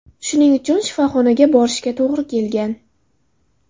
Shuning uchun shifoxonaga borishga to‘g‘ri kelgan.